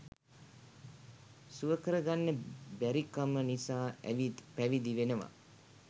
සුවකර ගන්න බැරිකම නිසා ඇවිත් පැවිදි වෙනවා.